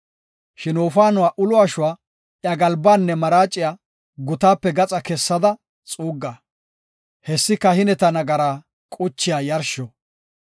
Shin wofaanuwa ulo ashuwa, iya galbaanne maraaciya gutaape gaxa kessada xuugga. Hessi kahineta nagaraa quchiya yarsho.